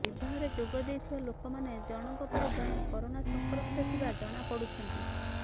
ବିବାହରେ ଯୋଗଦେଇଥିବା ଲୋକମାନେ ଜଣଙ୍କ ପରେ ଜଣେ କରୋନା ସଂକ୍ରମିତ ଥିବା ଜଣାପଡ଼ୁଛନ୍ତି